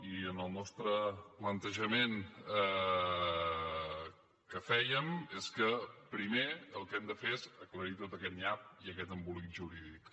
i el nostre plantejament que fèiem és que primer el que hem de fer és aclarir tot aquest nyap i aquest embolic jurídic